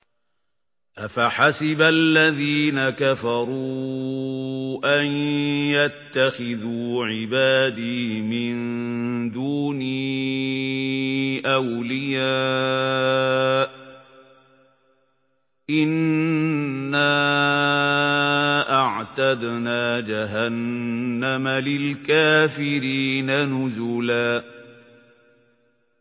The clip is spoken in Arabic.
أَفَحَسِبَ الَّذِينَ كَفَرُوا أَن يَتَّخِذُوا عِبَادِي مِن دُونِي أَوْلِيَاءَ ۚ إِنَّا أَعْتَدْنَا جَهَنَّمَ لِلْكَافِرِينَ نُزُلًا